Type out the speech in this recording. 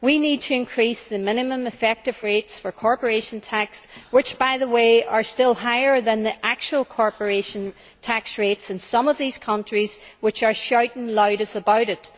We need to increase the minimum effective rates for corporation tax, which, by the way, are still higher than the actual corporation tax rates in some of these countries which are shouting loudest about it.